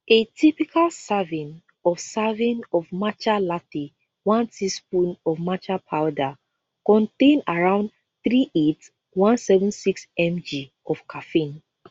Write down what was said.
a typical serving of serving of matcha latte one teaspoon of matcha powder contain around three eight one seven six mg of caffeine